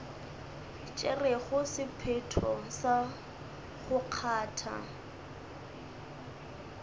tšerego sephetho sa go kgatha